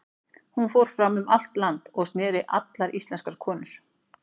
Hún fór fram um allt land, og snerti allar íslenskar konur.